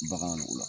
Bagan o la